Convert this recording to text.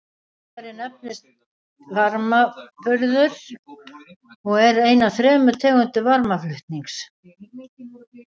Fyrirbærið nefnist varmaburður og er ein af þremur tegundum varmaflutnings.